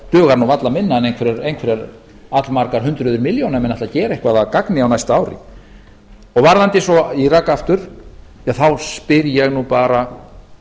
dugar nú varla minna en einhverjar allmargar hundruð milljóna ef menn ætla að gera eitthvað af gagn á næsta ári en varðandi svo írak aftur þá spyr ég nú bara